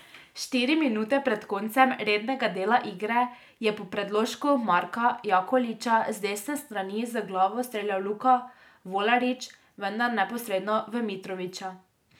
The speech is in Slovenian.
Štiri minute pred koncem rednega dela igre je po predložku Marka Jakolića z desne strani z glavo streljal Luka Volarič, vendar neposredno v Mitrovića.